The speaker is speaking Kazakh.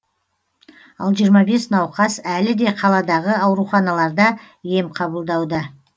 ал жиырма бес науқас әлі де қаладағы ауруханаларда ем қабылдауда